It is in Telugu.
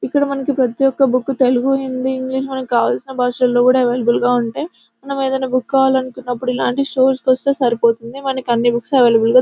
ఇక్కడ మనకు ప్రతి ఒక్క బుక్ తెలుగు హిందీ ఇంగ్లీష్ మనకు కావలసిన భాషల్లో కూడా అవైలబుల్ గా ఉంటాయి. మనము ఏదైనా బుక్ కావాలనుకున్నప్పుడు ఇలాంటి ఇలాంటి స్టోర్స్ కి వస్తే సరిపోతుంది. మనకు అన్ని బుక్స్ అవైలబుల్ గా--